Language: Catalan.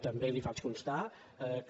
també li faig constar que